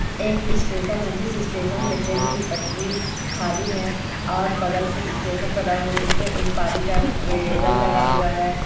एक स्टेशन है जिस स्टेशन में ट्रेन की पटरी खाली है और बगल से स्टेशन बना हो जिसमे एक पानी का नल लगा हुआ है।